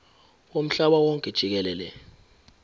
womhlaba wonke jikelele